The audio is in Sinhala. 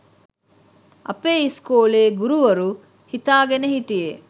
අපේ ඉස්කෝලේ ගුරුවරු හිතාගෙන හිටියේ